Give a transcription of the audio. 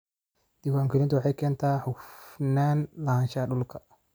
Diiwaangelintu waxay keentaa hufnaan lahaanshaha dhulka.